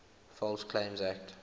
false claims act